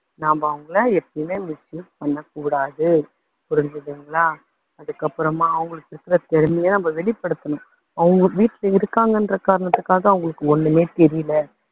நாம அவங்களை எப்பயுமே misuse பண்ண கூடாது. புரிஞ்சுதுங்களா. அதுக்கப்பறமா அவங்களுக்கு இருக்குற திறமையை வெளிப்பதுத்தணும். அவங்க வீட்டுல இருக்காங்கன்ற காரணத்துக்காக அவங்களுக்கு ஒண்ணுமே தெரியல